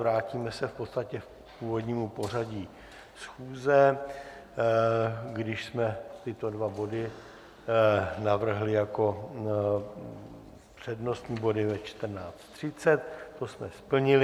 Vrátíme se v podstatě k původnímu pořadí schůze, když jsme tyto dva body navrhli jako přednostní body ve 14.30, to jsme splnili.